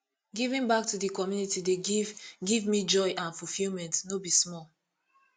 giving back to di community dey give give me joy and fulfillment no be small